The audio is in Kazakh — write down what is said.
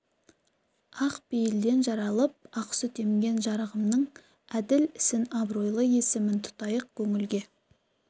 ақ пейілден жаралып ақ сүт емген жарығымның әділ ісін абыройлы есімін тұтайық көңілге